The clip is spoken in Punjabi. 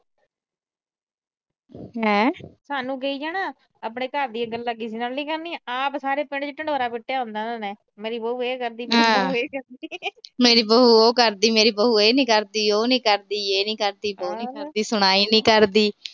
ਸਾਨੂੰ ਕਹਿ ਜਾਣਗੀਆਂ, ਆਪਣੇ ਘਰ ਦੀਆਂ ਗੱਲਾਂ ਕਿਸੇ ਨਾਲ ਨੀ ਕਰਨੀਆਂ। ਆਪ ਸਾਰੇ ਪਿੰਡ ਚ ਢਿੰਡੋਰਾ ਪੀਟੀਆਂ ਹੁੰਦਾ ਉਹਨਾਂ ਨੇ। ਮੇਰੀ ਬਹੂ ਇਹ ਕਰਦੀ। ਮੇਰੀ ਬਹੂ ਇਹ ਕਰਦੀ। ਮੇਰੀ ਬਹੂ ਉਹ ਕਰਦੀ। ਮੇਰੀ ਬਹੂ ਇਹ ਨੀ ਕਰਦੀ। ਯੇ ਨੀ ਕਰਦੀ, ਵੋ ਨੀ ਕਰਦੀ, ਨੀ ਕਰਦੀ।